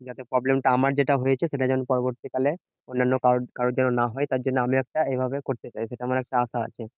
যাতে problem টা আমার যেটা হয়েছে, সেটা যেন পরবর্তীকালে অন্যান্য কারোর কারোর যেন না হয়। তার জন্য আমি একটা এইভাবে করতে চাই, সেটা আমার একটা আশা আছে।